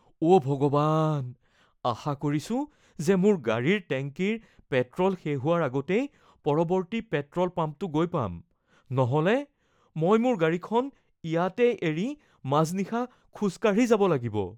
অ’ ভগৱান, আশা কৰিছো যে মোৰ গাড়ীৰ টেংকিৰ পেট্ৰ’ল শেষ হোৱাৰ আগতেই পৰৱৰ্তী পেট্ৰ’ল পাম্পটো গৈ পাম। নহ'লে মই মোৰ গাড়ীখন ইয়াতেই এৰি, মাজনিশা খোজ কাঢ়ি ঘৰলৈ যাব লাগিব।